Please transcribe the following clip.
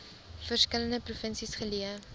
verskillende provinsies geleë